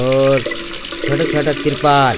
और छोटा छोटा तिरपाल।